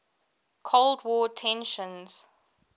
cold war tensions